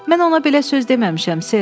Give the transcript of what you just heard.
Mən ona belə söz deməmişəm, ser.